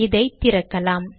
இதை திறக்கலாம்